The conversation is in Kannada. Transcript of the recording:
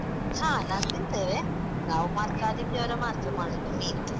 ಹಾ ನಾನ್ ತಿಂತೇವೆ, ನಾವು ಆದಿತ್ಯವಾರ ಮಾತ್ರ ಮಾಡುದು ಮೀನ್.